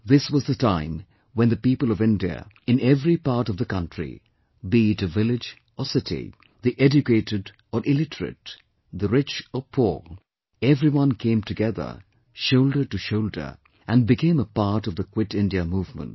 This was the time when the people of India, in every part of the country be it a village or city, the educated or illiterate, the rich or poor, everyone came together shoulder to shoulder and became a part of the 'Quit India Movement